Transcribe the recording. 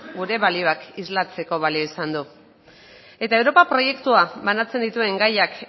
gure balioak islatzeko balio izan du eta europa proiektuak banatzen dituen gaiak